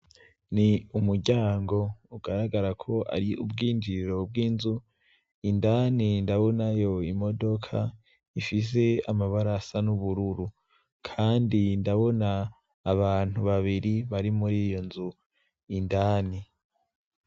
Ni umuryango ugaragara ko ari ubwinjiro bw'inzu indani ndabonayo imodoka ifise amabarasa n'ubururu, kandi ndabona abantu babiri bari muri iyo nzu indani.